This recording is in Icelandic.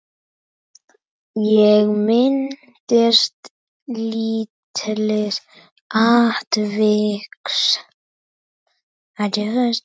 Ég minnist lítils atviks.